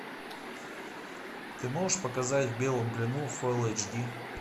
ты можешь показать в белом плену фулл эйч ди